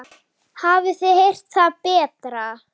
Hafið þið heyrt það betra?